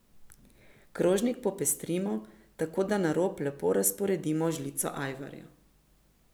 Krožnik popestrimo, tako da na rob lepo razporedimo žlico ajvarja.